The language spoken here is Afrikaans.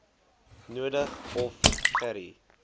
nodig of gerie